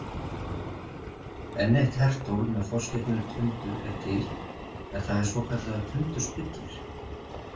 Enn eitt hertól með forskeytinu tundur- er til en það er svokallaður tundurspillir.